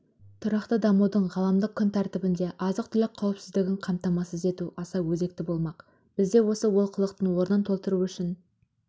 тұрақты дамудың ғаламдық күн тәртібінде азық-түлік қауіпсіздігін қамтамасыз ету аса өзекті болмақ бізде осы олқылықтың орнын толтыру үшін